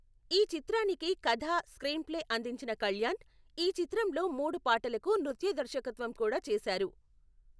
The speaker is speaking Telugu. ఈ చిత్రానికి కథ, స్క్రీన్ప్లే అందించిన కళ్యాణ్, ఈ చిత్రంలో మూడు పాటలకు నృత్య దర్శకత్వం కూడా చేశారు.